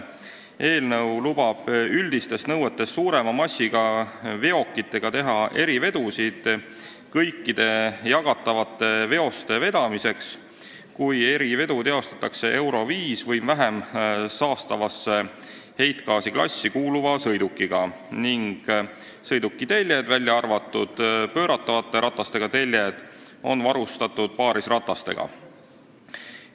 Eelnõu lubab üldistest nõuetest suurema massiga veokitega teha erivedusid kõikide jagatavate veoste vedamiseks, kui erivedu tehakse EURO V või vähem saastavasse heitgaasiklassi kuuluva sõidukiga ning sõiduki teljed, välja arvatud pööratavate ratastega teljed, on varustatud paarisratastega.